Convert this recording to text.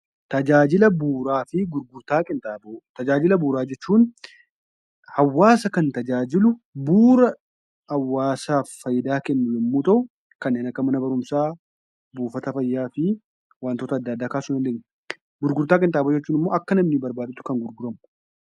Tajaajila bu'uuraa jechuun hawaasa kan tajaajilu hawaasaaf faayidaa kennu yoo ta'u, kanneen akka: mana barumsaa, buufata fayyaa fa'i. Gurgurtaa qinxaaboo jechuun immoo akka namni barbaadutti kan gurguramu jechuudha.